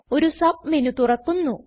ഒരു സബ്മെന് തുറക്കുന്നു